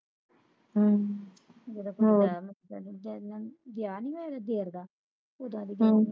ਹਮ ਹੋਰ ਹਮ